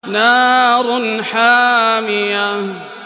نَارٌ حَامِيَةٌ